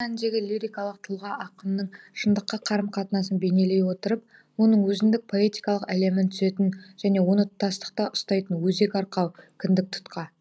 шын мәніндегі лирикалық тұлға ақынның шындыққа қарым қатынасын бейнелей отырып оның өзіндік поэтикалық әлемін түзетін және оны тұтастықта ұстайтын өзек арқау кіндік тұтқа